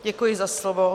Děkuji za slovo.